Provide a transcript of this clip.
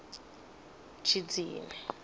tshidzini